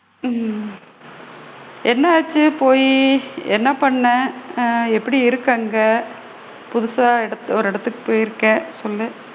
ஹம் என்ன ஆச்சு போயி? என்ன பண்ணுன? ஆ எப்படி இருக்க அங்க? புதுசா இடத் ஒரு இடத்துக்கு போயிருக்க சொல்லு?